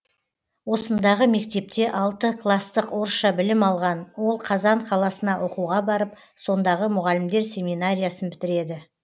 осындағы мектепте алты кластық орысша білім алған ол қазан қаласына оқуға барып сондағы мұғалімдер семинариясын бітіреді